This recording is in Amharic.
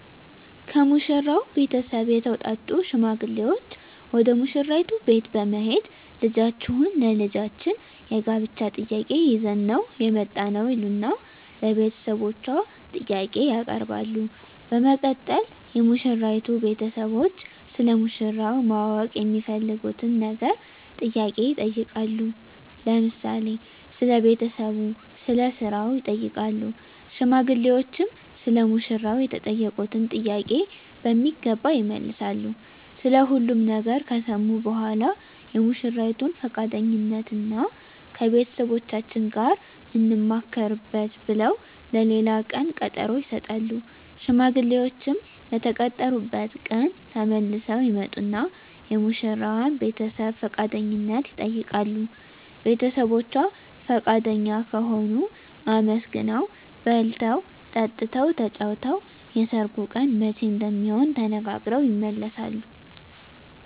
ከሙሽራው ቤተሰብ የተውጣጡ ሽማግሌዎች ወደ ሙሽራይቱ ቤት በመሄድ ልጃችሁን ለልጃችን የጋብቻ ጥያቄ ይዘን ነው የመጣነው ይሉና ለቤተሰቦቿ ጥያቄ ያቀርባሉ በመቀጠል የሙሽራይቱ ቤተሰቦች ስለ ሙሽራው ማወቅ የሚፈልጉትን ነገር ጥያቄ ይጠይቃሉ ለምሳሌ ስለ ቤተሰቡ ስለ ስራው ይጠይቃሉ ሽማግሌዎችም ሰለ ሙሽራው የተጠየቁትን ጥያቄ በሚገባ ይመልሳሉ ስለ ሁሉም ነገር ከሰሙ በኃላ የሙሽራይቱን ፍቃደኝነት እና ከቤተሰቦቻችን ጋር እንማከርበት ብለው ለሌላ ቀን ቀጠሮ ይሰጣሉ። ሽማግሌዎችም በተቀጠሩበት ቀን ተመልሰው ይመጡና የሙሽራዋን ቤተሰብ ፍቃደኝነት ይጠይቃሉ ቤተሰቦቿ ፍቃደኛ ከሆኑ አመስግነው በልተው ጠጥተው ተጫውተው የሰርጉ ቀን መቼ እንደሚሆን ተነጋግረው ይመለሳሉ።